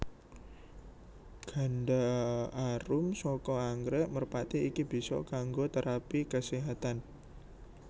Ganda arum saka anggrèk merpati iki bisa kanggo térapi kaséhatan